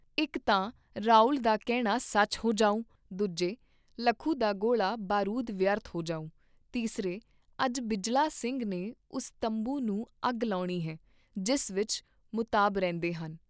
ਇਕ ਤਾਂ ਰਾਉਲ ਦਾ ਕਹਿਣਾ ਸੱਚ ਹੋ ਜਾਉਂ ਦੂਜੇ ਲੱਖੂ ਦਾ ਗੋਲਾ ਬਾਰੂਦ ਵਿਅਰਥ ਜਾਊ ਤੀਸਰੇ ਅੱਜ ਬਿਜਲਾ ਸਿੰਘ ਨੇ ਉਸ ਤੰਬੂ ਨੂੰ ਅੱਗ ਲਾਉਣੀ ਹੈ, ਜਿਸ ਵਿਚ ਮੁਤਾਬ ਰਹਿੰਦੇ ਹਨ।